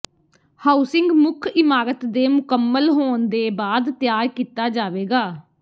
housing ਮੁੱਖ ਇਮਾਰਤ ਦੇ ਮੁਕੰਮਲ ਹੋਣ ਦੇ ਬਾਅਦ ਤਿਆਰ ਕੀਤਾ ਜਾਵੇਗਾ